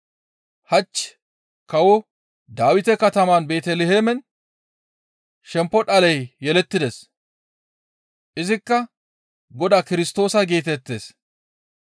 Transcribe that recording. Hach kawo Dawite katama Beeteliheemen shempo dhaley yelettides. Izikka Godaa Kirstoosa geetettees.